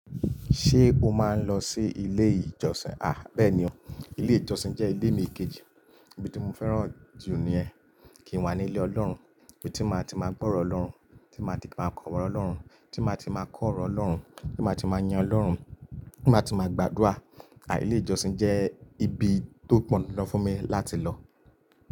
Ṣé o máa ń lọ sí ilé ìjọsìn? À bẹ́ẹ̀ ni o, ilé ìjọsìn jẹ́ ilé mi kejì, ibi tí mo fẹ́ràn jù nìyẹn. Kí n wà ní ilé Ọlọ́run, ibi tí màá ti máa gbọ́ ọ̀rọ̀ Ọlọ́run, tí màá ti máa k'ọ̀rọ̀ Ọlọ́run, tí màá ti máa kọ́ ọ̀rọ̀ Ọlọ́run, tí màá ti máa yin Ọlọ́run, tí màá ti máa gbàdúrà. À ilé ìjọsìn jẹ́ ibi tó pọn dandan fún mi láti lọ.